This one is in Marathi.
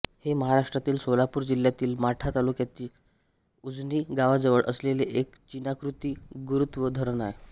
हे महाराष्ट्रातील सोलापूर जिल्ह्यातील माढा तालुक्याच्या उजनी गावाजवळ असलेले एक चिनाकृती गुरुत्व धरण आहे